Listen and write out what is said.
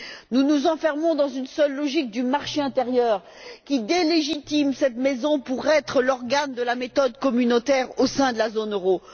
Nous nous enfermons dans une seule logique du marché intérieur qui déligitime cette Maison pour être l'organe de la méthode communautaire au sein de la zone euro.